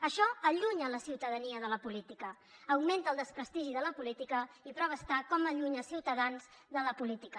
això allunya la ciutadania de la política augmenta el desprestigi de la política i la prova és com s’allunya ciutadans de la política